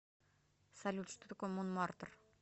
салют что такое монмартр